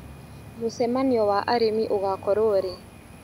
Mũcemanio wa arĩmi ũgakorwo rĩ.